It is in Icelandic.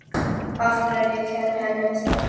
Af hverju að kenna henni um það?